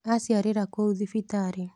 Aciarĩra kũu thibitarĩ.